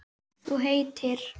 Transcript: Þú heitir?